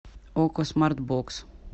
окко смарт бокс